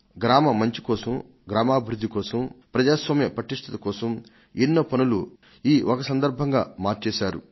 గ్రామ మంచి కోసం గ్రామాభివృద్ధి కోసం ప్రజాస్వామ్య పటిష్టత కోసం ఎన్నో పనులు ఈ ఒక సందర్భంగా మార్చేశారు